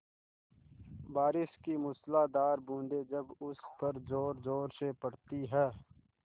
बारिश की मूसलाधार बूँदें जब उस पर ज़ोरज़ोर से पड़ती हैं